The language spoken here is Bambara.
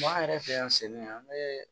an yɛrɛ fɛ yan selen yan an bɛ